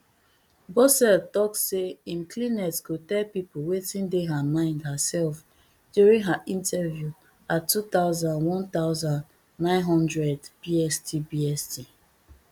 bosseult tok say im clinet go tell pipo wetin dey her mind herself during her interview at two thousand one thousand, nine hundred bst bst